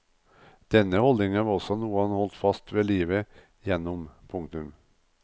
Denne holdningen var også noe han holdt fast ved livet gjennom. punktum